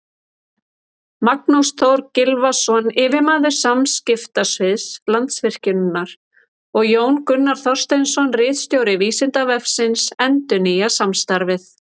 Magnús Þór Gylfason, yfirmaður samskiptasviðs Landsvirkjunar, og Jón Gunnar Þorsteinsson, ritstjóri Vísindavefsins, endurnýja samstarfið.